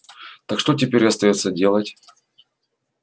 так что теперь остаётся делать